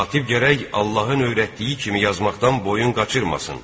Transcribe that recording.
Katib gərək Allahın öyrətdiyi kimi yazmaqdan boyun qaçırmasın.